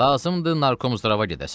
Lazımdır Narkomzdrava gedəsən.